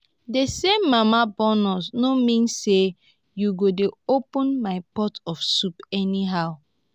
the same mama born us no mean say you go dey open my pot of soup anyhow